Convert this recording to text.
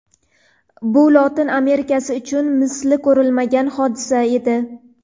bu Lotin Amerikasi uchun misli ko‘rilmagan hodisa edi.